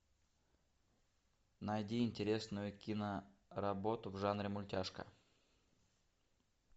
найди интересную киноработу в жанре мультяшка